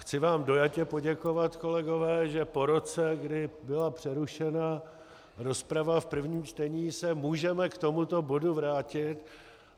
Chci vám dojatě poděkovat, kolegové, že po roce, kdy byla přerušena rozprava v prvním čtení, se můžeme k tomuto bodu vrátit.